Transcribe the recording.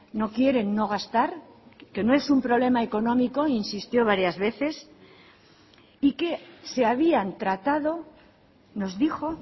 no quieren no gastar que no es un problema económico insistió varias veces y que se habían tratado nos dijo